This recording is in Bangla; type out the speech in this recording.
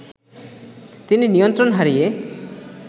তিনি নিয়ন্ত্রণ হারিয়ে